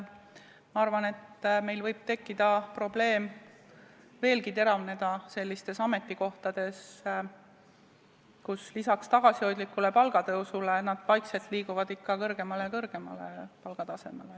Ma arvan, et probleem võib veelgi teravneda sellistel ametikohtadel, mis lisaks tagasihoidlikule palgatõusule vaikselt liiguvad ikka kõrgemale ja kõrgemale maksustamise tasemele.